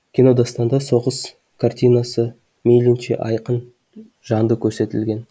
кинодастанда соғыс картинасымейілінше айқын жанды көрсетілген